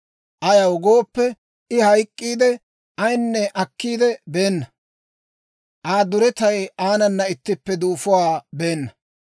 Ayaw gooppe, I hayk'k'iidde, Ayinne akkiide beenna; Aa duretay aanana ittippe duufuwaa beenna.